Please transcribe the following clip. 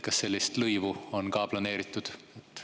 Kas sellist lõivu on ka planeeritud?